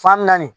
Fan naani